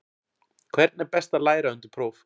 Hvernig er best að læra undir próf?